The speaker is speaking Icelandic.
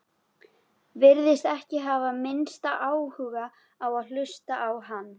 Virtist ekki hafa minnsta áhuga á að hlusta á hann.